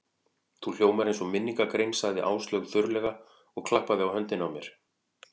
Þú hljómar eins og minningargrein sagði Áslaug þurrlega og klappaði á höndina á mér.